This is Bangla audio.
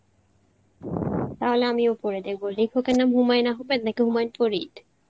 তাহলে আমিও পড়ে দেখব লেখক এর নাম হুমায়ুন আহাম্মেদ নাকি হুমায়ুন ফরিদ?